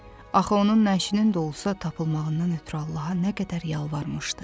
Axı onun nəşinin də olsa tapılmağından ötrü Allaha nə qədər yalvarmışdı.